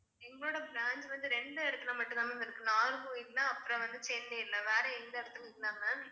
எங்களோட branch வந்து ரெண்டு இடத்துல மட்டும் தான் ma'am இருக்கு நாகர்கோவில்ல அப்புறம் வந்து சென்னைல வேற எந்த இடத்துலையும் இல்ல ma'am